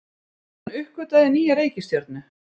Hann uppgötvaði nýja reikistjörnu!